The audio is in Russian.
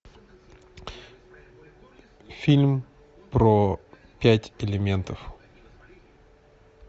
фильм про пять элементов